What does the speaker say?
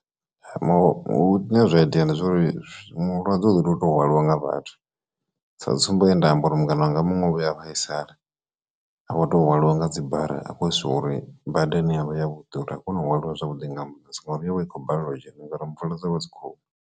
Zwa iteya ndi zwauri mulwadze u ḓo to hwaliwa nga vhathu, sa tsumbo ye nda amba uri mungana wanga muṅwe vhuya a vhaisala avha o to hwaliwa nga dzibara a khou siwa uri bada ane avha ya vhuḓi uri a kone u hwaliwa zwavhuḓi nga ambuḽentsi ngouri yo vha i khou balelwa u dzhena ngori mvula dza vha dzi khou.